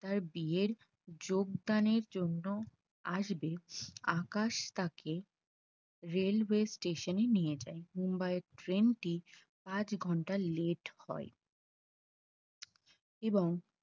তার বিয়ের যোগদানের জন্য আসবে আকাশ তাকে railway station এ নিয়ে যায়। মুম্বাই ট্রেনটি পাঁচ ঘন্টা let হয় এবং